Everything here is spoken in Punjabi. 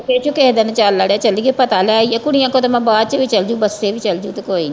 ਕਿਹੇ ਦਿਨ ਚਲ ਅੜਿਆ ਚਲੀਏ ਪਤਾ ਲੈ ਆਈਏ ਕੁੜੀਆਂ ਕੋ ਤੇ ਮੈ ਬਾਅਦ ਚ ਵੀ ਚਲਜੂ ਬੱਸੇ ਵੀ ਚਲਜੂ ਤੇ ਕੋਈ ਨਹੀਂ